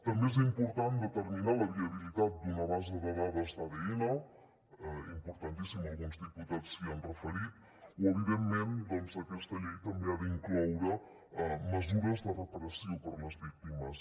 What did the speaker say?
també és important determinar la viabilitat d’una base de dades d’adn importantíssim alguns diputats s’hi han referit o evidentment doncs aquesta llei també ha d’incloure mesures de reparació per a les víctimes